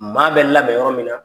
Maa bɛ labɛn yɔrɔ min na